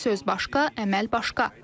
Lakin söz başqa, əməl başqa.